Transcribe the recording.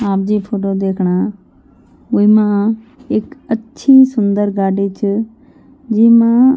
आप जी फोटो दिखणा विमा एक अच्छी सुन्दर गाडी च जीमा --